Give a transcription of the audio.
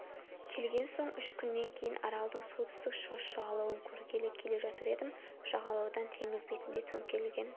келген соң үш күннен кейін аралдың солтүстік шығыс жағалауын көргелі келе жатыр едім жағалаудан теңіз бетінде төңкерілген